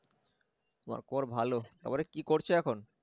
আমার খবর ভালো তারপরে কি করছ এখন